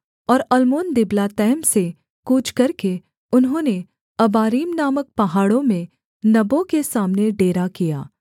और अल्मोनदिबलातैम से कूच करके उन्होंने अबारीम नामक पहाड़ों में नबो के सामने डेरा किया